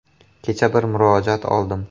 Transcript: Kecha bir murojaat oldim.